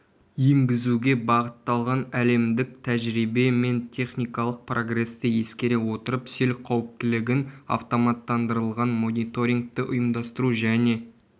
енгізуге бағытталған әлемдік тәжірибе мен техникалық прогресті ескере отырып сел қауіптілігін автоматтандырылған мониторингті ұйымдастыру және